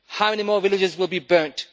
How many more villages will be burnt?